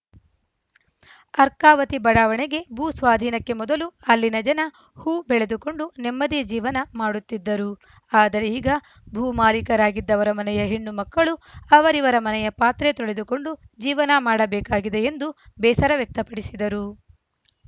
ಅರ್ಕಾವತಿ ಬಡಾವಣೆಗೆ ಭೂ ಸ್ವಾಧೀನಕ್ಕೆ ಮೊದಲು ಅಲ್ಲಿನ ಜನ ಹೂ ಬೆಳೆದುಕೊಂಡು ನೆಮ್ಮದಿಯ ಜೀವನ ಮಾಡುತ್ತಿದ್ದರು ಆದರೆ ಈಗ ಭೂಮಾಲಿಕರಾಗಿದ್ದವರ ಮನೆಯ ಹೆಣ್ಣು ಮಕ್ಕಳು ಅವರಿವರ ಮನಯ ಪಾತ್ರೆ ತೊಳೆದುಕೊಂಡು ಜೀವನ ಮಾಡಬೇಕಾಗಿದೆ ಎಂದು ಬೇಸರ ವ್ಯಕ್ತಪಡಿಸಿದರು